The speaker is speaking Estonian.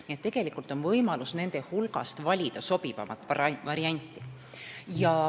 Nii et tegelikult on võimalik valida nende hulgast sobivaim variant.